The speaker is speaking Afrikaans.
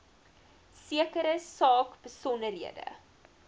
sekere saak besonderhede